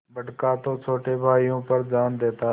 बड़का तो छोटे भाइयों पर जान देता हैं